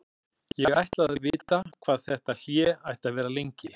Ég ætlaði að vita hvað þetta hlé ætti að vera lengi.